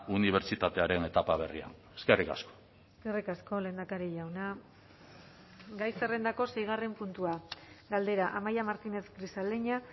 unibertsitatearen etapa berria eskerrik asko eskerrik asko lehendakari jauna gai zerrendako seigarren puntua galdera amaia martínez grisaleña